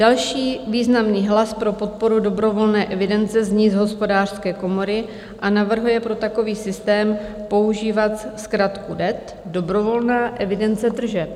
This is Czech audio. Další významný hlas pro podporu dobrovolné evidence zní z Hospodářské komory a navrhuje pro takový systém používat zkratku DET - dobrovolná evidence tržeb.